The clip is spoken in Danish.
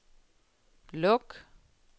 luk